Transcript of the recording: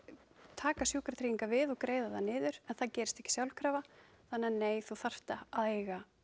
taka Sjúkratryggingar við og greiða það niður en það gerist ekki sjálfkrafa þannig að nei þú þarft að eiga